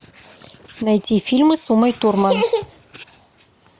найти фильмы с умой турман